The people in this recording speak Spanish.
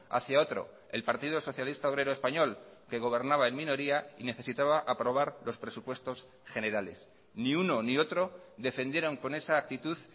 hacia otro el partido socialista obrero español que gobernaba en minoría y necesitaba aprobar los presupuestos generales ni uno ni otro defendieron con esa actitud